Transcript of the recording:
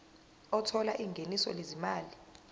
othola ingeniso lezimali